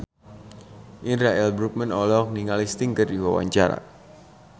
Indra L. Bruggman olohok ningali Sting keur diwawancara